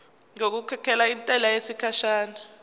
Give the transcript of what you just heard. ngokukhokhela intela yesikhashana